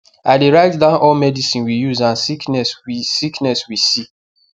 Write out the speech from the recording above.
i dey write down all medicine we use and sickness we sickness we see